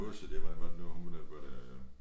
Aase der hvordan var det nu hun øh var det